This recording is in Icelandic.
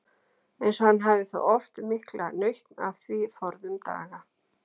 Eins og hann hafði þó haft mikla nautn af því forðum daga.